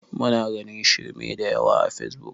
Muna ganin shirme da yawa a fesbuk